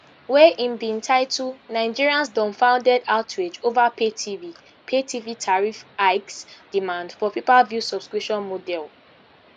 wey im bin title nigerians dumbfounded outrage over paytv paytv tariff hikes demand for payperview subscription model